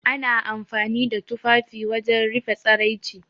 Ana amfani da tufafi wajen rufe tsaraici.